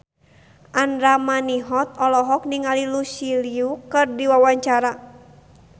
Andra Manihot olohok ningali Lucy Liu keur diwawancara